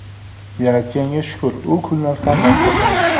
Yaratganga shukur, u kunlar ham ortda qoldi.